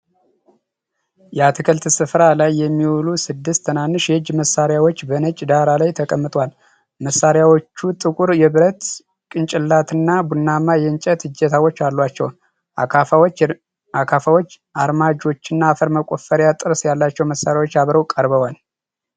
የአትክልት ሥፍራ ሥራ ላይ የሚውሉ ስድስት ትናንሽ የእጅ መሣሪያዎች በነጭ ዳራ ላይ ተቀምጠዋል። መሣሪያዎቹ ጥቁር የብረት ጭንቅላትና ቡናማ የእንጨት እጀታዎች አሏቸው። አካፋዎች፣ አርማጆችና አፈር መቆፈሪያ ጥርስ ያላቸው መሣሪያዎች አብረው ቀርበዋል።